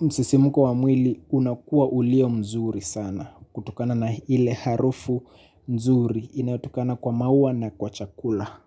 msisimuko wa mwili unakua ulio mzuri sana. Kutokana na ile harufu nzuri inayotokana kwa maua na kwa chakula.